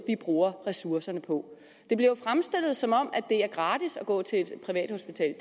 vi bruger ressourcerne på det bliver fremstillet som om det er gratis at gå til et privathospital